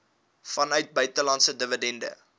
vanuit buitelandse dividende